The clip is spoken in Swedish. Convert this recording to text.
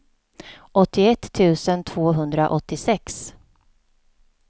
åttioett tusen tvåhundraåttiosex